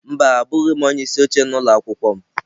Mba abụghị m onye isi oche n'ụlọ akwụkwọ m.